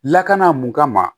Lakana mun kama